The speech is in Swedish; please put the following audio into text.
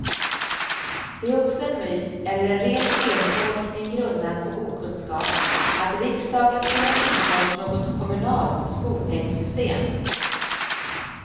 Det är också en myt, eller en ren feltolkning grundad på okunskap, att riksdagen skulle ha infört något kommunalt skolpengsystem.